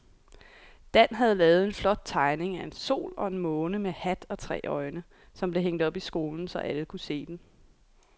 Dan havde lavet en flot tegning af en sol og en måne med hat og tre øjne, som blev hængt op i skolen, så alle kunne se den.